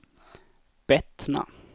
Bettna